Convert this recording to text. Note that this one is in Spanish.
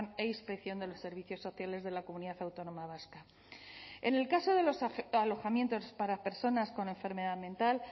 e inspección de los servicios sociales de la comunidad autónoma vasca en el caso de los alojamientos para personas con enfermedad mental